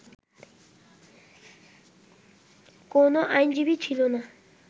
কোন আইনজীবী ছিল না